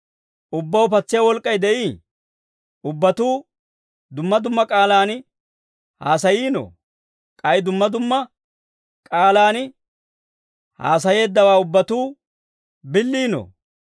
Ubbaw patsiyaa wolk'k'ay de'ii? Ubbatuu dumma dumma k'aalaan haasayiinoo? K'ay dumma dumma k'aalaan haasayeeddawaa ubbatuu billiinoo?